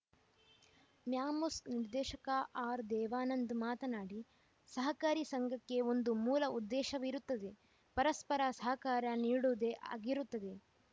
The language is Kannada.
ಮ್ಯಾಮ್ಕೋಸ್‌ ನಿರ್ದೇಶಕ ಆರ್‌ದೇವಾನಂದ್‌ ಮಾತನಾಡಿ ಸಹಕಾರಿ ಸಂಘಕ್ಕೆ ಒಂದು ಮೂಲ ಉದ್ದೇಶವಿರುತ್ತದೆ ಪರಸ್ಪರ ಸಹಕಾರ ನೀಡುವುದೇ ಆಗಿರುತ್ತದೆ